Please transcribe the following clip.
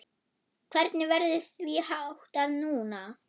Hvernig verður því háttað núna?